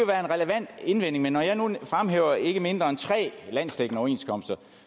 være en relevant indvending men når jeg nu fremhæver ikke mindre end tre landsdækkende overenskomster